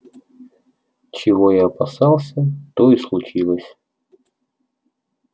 чего я опасался то и случилось